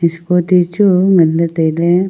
scooty chu ngan ley taile.